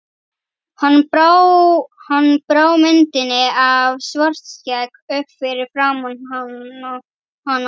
Hann brá myndinni af Svartskegg upp fyrir framan hana.